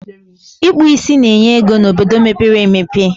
Ịkpụ ísí na-enye ego n'obodo mepere emepe